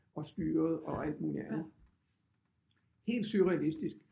Og styret og alt muligt andet helt surrealistisk